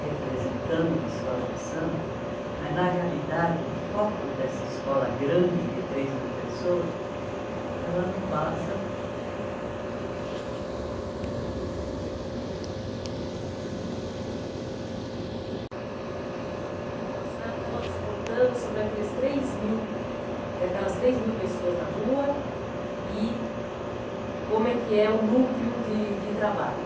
representando uma escola de samba, mas, na realidade, o foco dessa escola grande de três mil pessoas, ela não passa... Então, a senhora estava nos contando sobre aqueles três mil, daquelas três mil pessoas na rua e como é que é o núcleo de de trabalho.